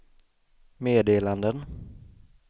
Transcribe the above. meddelanden